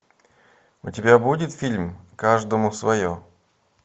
у тебя будет фильм каждому свое